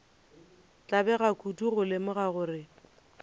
tlabega kudu go lemoga gore